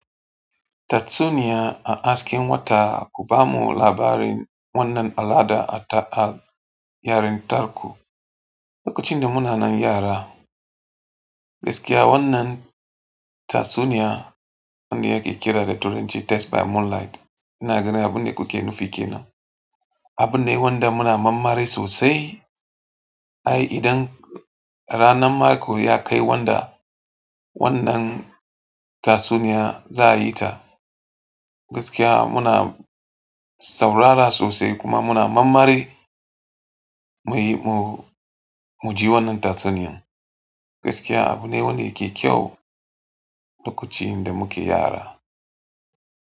Tatsuniya a hasken wata, ku bamu labarin wannan al'ada a, a yarentarku. Lokacin da muna nan yara, gaskiya wannan tatsuniya wanda yake kira da Test by Moonlight" ina ganin abunda kuke nufi kenan. Abun ne wanda muna mammari sosai. Ai idan ranan mako ya kai wanda wannan tatsuniya za a yi ta, gaskiya muna saurara sosai kuma muna mammare mu yi, mu, mu ji wannan tatsuniyan. Gaskiya abune wanda yake kyau lokacin da muke yara.